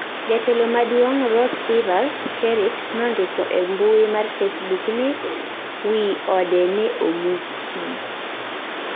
Jatelo maaduong' Roosevelt Skerrit nondiko e mbui mar Facebook ni wi ode neomuki